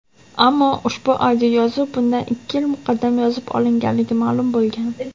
ammo ushbu audioyozuv bundan ikki yil muqaddam yozib olinganligi ma’lum bo‘lgan.